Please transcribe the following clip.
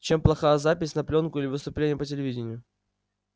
чем плоха запись на плёнку или выступление по телевидению